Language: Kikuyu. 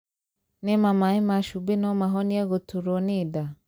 Nĩma maĩ ma cumbĩ no mahonie gũturwo nĩ nda?